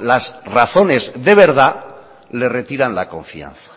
las razones de verdad le retiran la confianza